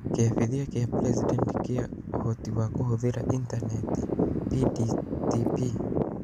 Kĩambithia kĩa President kĩa Ũhoti wa Kũhũthĩra Intaneti (PDTP)